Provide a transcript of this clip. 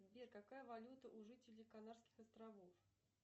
сбер какая валюта у жителей канарских островов